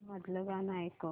मधलं गाणं ऐकव